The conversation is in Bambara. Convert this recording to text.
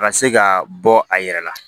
A ka se ka bɔ a yɛrɛ la